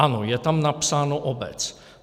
Ano, je tam napsáno obec.